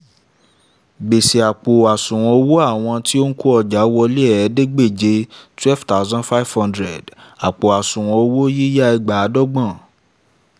gbèsè: àpò àṣùwọ̀n owó àwọn tí ó n kọ́jà wọlé ẹ̀ẹ́dégbèje twelve thousand five hundred àpò àṣúwọ̀n owó yíyá ẹgbàádọ́gbọ̀n